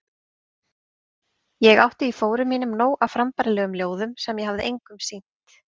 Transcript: Ég átti í fórum mínum nóg af frambærilegum ljóðum sem ég hafði engum sýnt.